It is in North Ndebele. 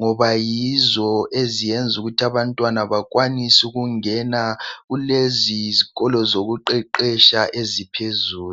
ngoba yizo eziyenza ukuthi abantwana bakwanise ukungena kulezi zikolo zokuqeqetsha eziphezulu.